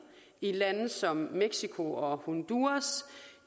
i lande som mexico og honduras